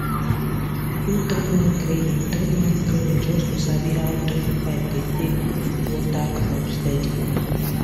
i do three month training three month training just to sabi how drip pipe dey take water crop steady